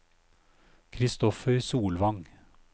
Kristoffer Solvang